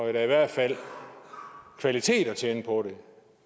er da i hvert fald kvalitet at tjene på det